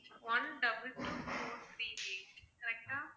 one double two four three eight correct ah